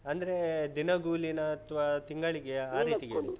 ಅಂದ್ರೆ ದಿನಗೂಲಿನಾ ಅಥ್ವಾ ತಿಂಗಳಿಗೆಯಾ? ಆ ರೀತಿ ಕೇಳಿದ್ದು .